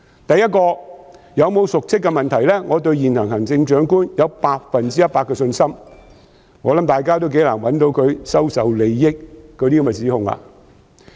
第一，對於有否瀆職的問題，我對現任行政長官有百分之一百的信心，我相信大家亦頗難找出她收受利益的指控。